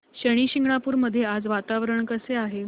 शनी शिंगणापूर मध्ये आज वातावरण कसे आहे